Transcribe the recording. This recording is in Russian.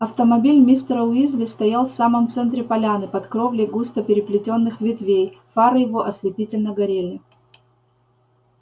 автомобиль мистера уизли стоял в самом центре поляны под кровлей густо переплетённых ветвей фары его ослепительно горели